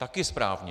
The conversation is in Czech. Taky správně.